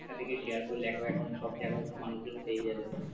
একটা থেকে share করলে এখন সব জায়গায় মানুষজন পেয়ে যাবে,